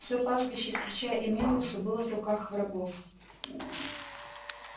всё пастбище включая и мельницу было в руках врагов